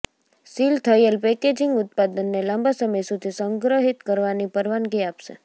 seal થયેલ packaging ઉત્પાદનને લાંબા સમય સુધી સંગ્રહિત કરવાની પરવાનગી આપશે